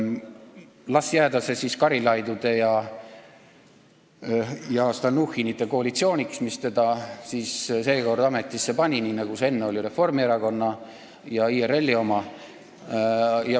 Las see jääda siis Karilaidide ja Stalnuhhinite koalitsiooniks, mis ta seekord ametisse paneb, nii nagu enne oli selleks Reformierakonna ja IRL-i oma.